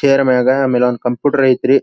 Chair ಮ್ಯಾಗ ಆಮೇಲೆ computer ಐತ್ರಿ.